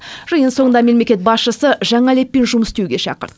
жиын соңында мемлекет басшысы жаңа леппен жұмыс істеуге шақырды